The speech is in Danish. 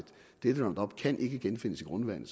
dette roundup ikke kan genfindes i grundvandet